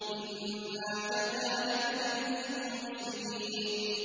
إِنَّا كَذَٰلِكَ نَجْزِي الْمُحْسِنِينَ